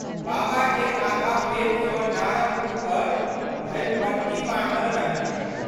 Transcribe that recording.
बाबाके आधा पेट सँ डाँरक ऊपर धरिपट्टी बान्हल रहनि।